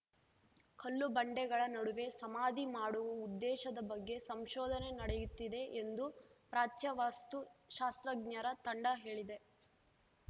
ಕಲ್ಲು ಬಂಡೆಗಳ ನಡುವೆ ಸಮಾಧಿ ಮಾಡುವ ಉದ್ದೇಶದ ಬಗ್ಗೆ ಸಂಶೋಧನೆ ನಡೆಯುತ್ತಿದೆ ಎಂದು ಪ್ರಾಚ್ಯ ವಸ್ತು ಶಾಸ್ತ್ರಜ್ಞರ ತಂಡ ಹೇಳಿದೆ